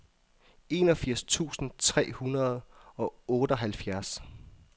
enogfirs tusind tre hundrede og otteoghalvfjerds